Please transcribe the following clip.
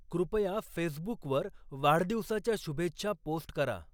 कृपया फेसबुकवर वाढदिवसाच्या शुभेच्छा पोस्ट करा